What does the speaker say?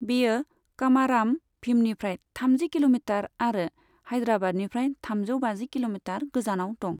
बेयो कमाराम भीमनिफ्राय थामजि किल'मिटार आरो हायद्राबादनिफ्राय थामजौ बाजि किल'मिटार गोजानाव दं।